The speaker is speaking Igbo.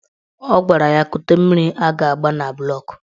Ọ gwara ya kute mmiri a ga-agba na bụlọk